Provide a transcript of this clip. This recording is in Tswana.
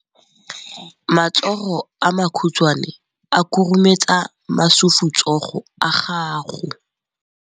Matsogo a makhutshwane a khurumetsa masufutsogo a gago.